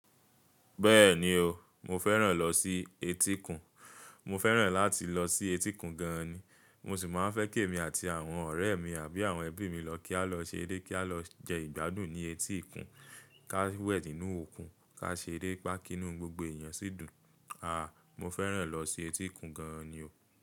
Bẹ́ẹ̀ni o, mo fẹ́ràn lọ sí etíkun. Mo fẹ́ràn láti lọ sí etíkun gan ni. Mo sì máa ń fẹ́ kí èmi àti àwọn ọ̀rẹ́ mi àbí àwọn ẹbí mi lọ kí a lọ ṣeré, kí a lọ jẹ ìgbádùn ní etíkun, ká wẹ̀ nínú òkun, ká ṣerépa kinu gbogbo èèyàn sí dùn. Aà! Mo fẹ́ràn lọ sí etíkun gan ni o.